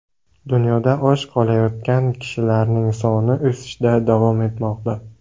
Dunyoda och qolayotgan kishilar soni o‘sishda davom etmoqda.